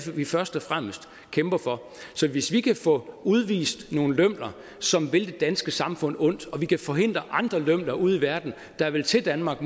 vi først og fremmest kæmper for så hvis vi kan få udvist nogle lømler som vil det danske samfund ondt og vi kan forhindre andre lømler ude i verden der vil til danmark